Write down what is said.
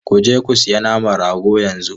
Ku je ku sayi naman rago yanzu!